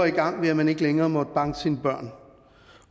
i gang ved at man ikke længere måtte banke sine børn